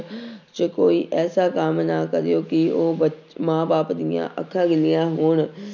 ਚ ਕੋਈ ਐਸਾ ਕੰਮ ਨਾ ਕਰਿਓ ਕਿ ਉਹ ਬ ਮਾਂ ਬਾਪ ਦੀਆਂ ਅੱਖਾਂ ਗਿੱਲੀਆਂ ਹੋਣ।